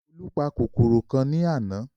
Olú pa kòkòrò kan ní àná